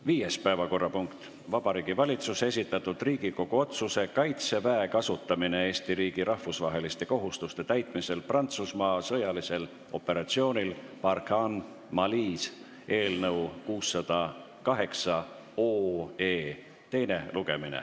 Viies päevakorrapunkt: Vabariigi Valitsuse esitatud Riigikogu otsuse "Kaitseväe kasutamine Eesti riigi rahvusvaheliste kohustuste täitmisel Prantsusmaa sõjalisel operatsioonil Barkhane Malis" eelnõu 608 teine lugemine.